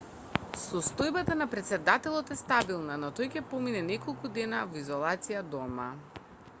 состојбата на претседателот е стабилна но тој ќе помине неколку дена во изолација дома